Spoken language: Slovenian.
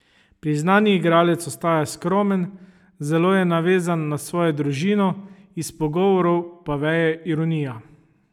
Priznani igralec ostaja skromen, zelo je navezan na svojo družino, iz pogovorov pa veje ironija.